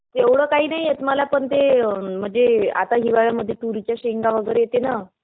एवढं काही नाही येत मला. पण ते अम्म आता म्हणजे हिवाळ्यामध्ये तुरीच्या शेंगा वगैरे येते ना?